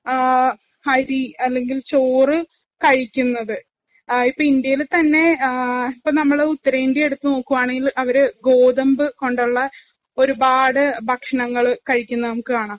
അരി അല്ലെങ്കില്‍ ചോറ് കഴിക്കുന്നത്. ഇന്ത്യയില് തന്നെഇപ്പം നമ്മള് ഉത്തരേന്ത്യ എടുത്തു നോക്കുകയാണെങ്കില്‍ അവര് ഗോതമ്പ് കൊണ്ടുള്ള ഒരുപാട് ഭക്ഷണങ്ങള്‍ കഴിക്കുന്നത് നമുക്ക് കാണാം.